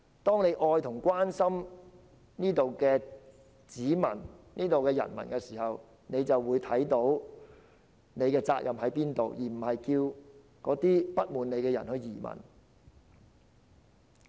當他們愛和關心這裏的人民，自然會看到自己的責任何在，而不會叫那些不滿他們的人移民。